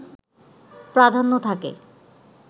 প্রাধান্য থাকে